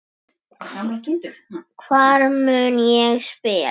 Hvar mun ég spila?